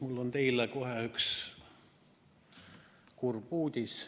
Mul on teile alguses kohe üks kurb uudis.